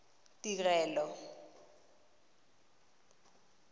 tirelo